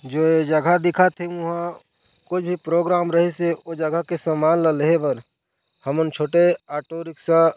जो ऐ जगह दिखत हे उहा कुछ भी प्रोग्राम रहिस हे ओ जगह के समान ल लेहे बर हमन छोटे ऑटो रिक्शा --